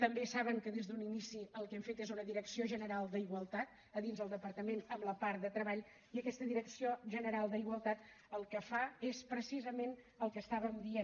també saben que des d’un inici el que hem fet és una direcció general d’igualtat a dins del departament en la part de treball i aquesta direcció general d’igualtat el que fa és precisament el que estàvem dient